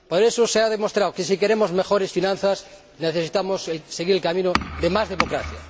Por eso, se ha demostrado que si queremos mejores finanzas necesitamos seguir el camino de más democracia.